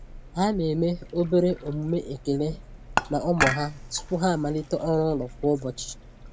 Ha na-eme obere omume ekele na ụmụ ha tupu ha amalite ọrụ ụlọ kwa ụbọchị.